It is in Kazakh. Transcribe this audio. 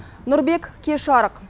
нұрбек кеш жарық